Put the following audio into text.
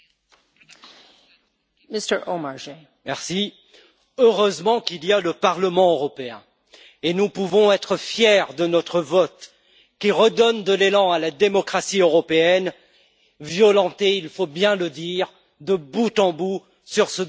Madame la Présidente, heureusement qu'il y a le Parlement européen. Nous pouvons être fiers de notre vote qui redonne de l'élan à la démocratie européenne, violentée il faut bien le dire, de bout en bout sur ce dossier des perturbateurs endocriniens.